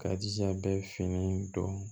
K'a jija a bɛ fini don